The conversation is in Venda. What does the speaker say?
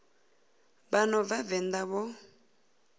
vha no bva venḓa vho